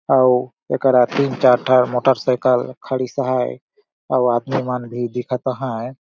अउ एकरा तीन चार ठे मोटर साइकिल खड़ीस अहाय अउर आदमी मन भी दिखत अहाय।